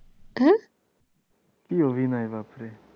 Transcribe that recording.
কি অভিনয় বাপরে!